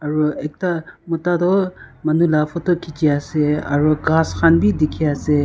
aro ekta mota toh manu la photo khichi ase aro ghas khan bi dikhiase.